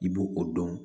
I b'o o dɔn